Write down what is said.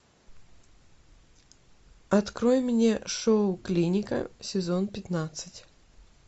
открой мне шоу клиника сезон пятнадцать